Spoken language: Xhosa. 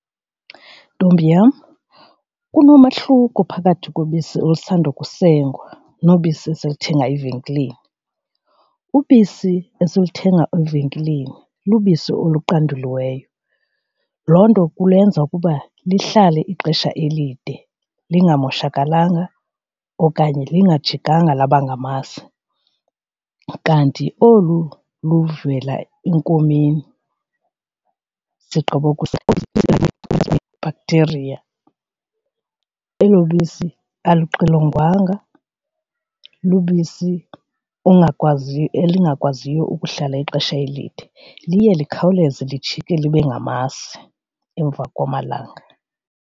Ntombi yam, kunomehluko phakathi kobisi olusandukusengwa nobisi esiluthenga evenkileni. Ubisi esiluthenga evenkileni lubisi oluqanduliweyo, loo nto kulenza ukuba lihlale ixesha elide lingamoshakalanga okanye lingajikanga laba ngamasi. Kanti olu luvela enkomeni sigqiboku bhakthiriya. Elo bisi alixilongwanga lubisi ongakwazi elingakwaziyo ukuhlala ixesha elide liye likhawuleze lijike libe ngamasi emva kwamalanga.